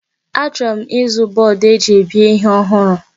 Achọrọ m ịzụ bọọdụ eji ebe ihe ọhụrụ.